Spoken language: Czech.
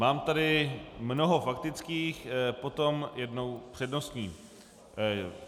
Mám tady mnoho faktických, potom jednu přednostní.